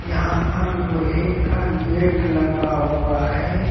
यहां पर लोहे का गेट लगा हुआ है।